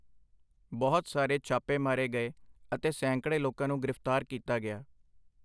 ਬਹੁਤ ਸਾਰੇ ਛਾਪੇ ਮਾਰੇ ਗਏ ਅਤੇ ਸੈਂਕੜੇ ਲੋਕਾਂ ਨੂੰ ਗ੍ਰਿਫਤਾਰ ਕੀਤਾ ਗਿਆ।